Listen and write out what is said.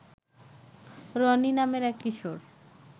রনি নামের এক কিশোর